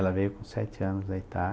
Ela veio com sete anos da